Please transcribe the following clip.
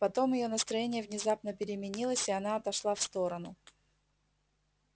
потом её настроение внезапно переменилось и она отошла в сторону